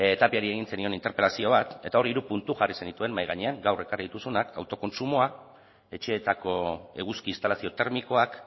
tapiari egin zenion interpelazio bat eta hor hiru puntu jarri zenituen mahai gainean gaur ekarri dituzunak autokontsumoa etxeetako eguzki instalazio termikoak